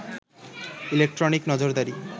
electronic নজরদারি